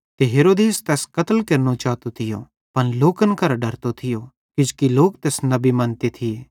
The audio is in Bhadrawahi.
ते हेरोदेस तैस कत्ल केरनो चातो थियो पन लोकन करां डरतो थियो किजोकि लोक तैस नबी मन्ते थिये